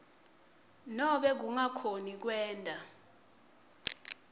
nobe kungakhoni kwenta